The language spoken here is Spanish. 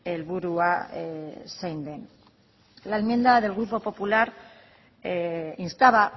helburua zein den la enmienda del grupo popular instaba